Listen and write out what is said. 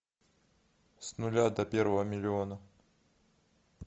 с нуля до первого миллиона